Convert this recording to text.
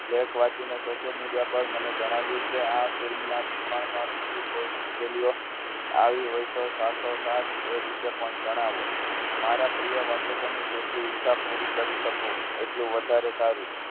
lake વાંચીને social media પર મને જણાવ કે આ film ના નિર્માણમાં બીજી કોઈ મુશ્કેલીઓ આવી હોય તો સાથોસાથ એ વિશે પણ જણાવો મારા પ્રિય વાચકોની જેટલી ઈચ્છા પૂરી કરી શકું એટલું વધારે સારું